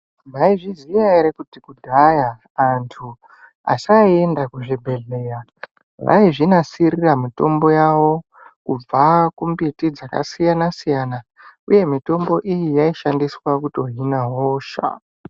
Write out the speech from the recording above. Mai zviziya ere kuti kudhaya antu asai enda kuzvi bhedhleya vaizvi nasirira mitombo yavo kubva ku mbiti dzaka siyana siyana uye mitombo iyi yaishandiswa kuto hina hosha.